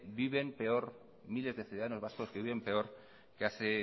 viven peor miles de ciudadanos vascos viven peor que hace